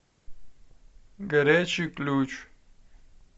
горячий ключ